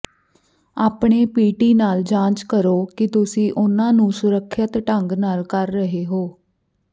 ਆਪਣੇ ਪੀਟੀ ਨਾਲ ਜਾਂਚ ਕਰੋ ਕਿ ਤੁਸੀਂ ਉਹਨਾਂ ਨੂੰ ਸੁਰੱਖਿਅਤ ਢੰਗ ਨਾਲ ਕਰ ਰਹੇ ਹੋ